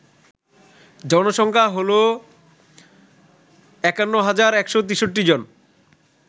জনসংখ্যা হল ৫১১৬৩ জন